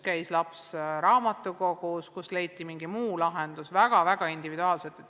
Mõni laps käis raamatukogus, mõne puhul leiti mingi muu lahendus, need olid väga-väga individuaalsed.